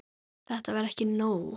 Þetta var ekki nóg.